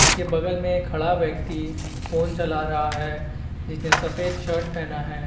उसके बगल में खड़ा व्यक्ति फोन चला रहा है जिसने सफेद शर्ट पहना है।